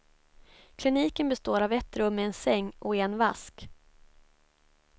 Kliniken består av ett rum med en säng och en vask.